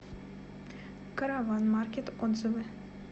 караван маркет отзывы